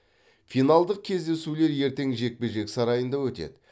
финалдық кездесулер ертең жекпе жек сарайында өтеді